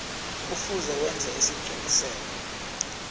kufuze wenze isiqiniseko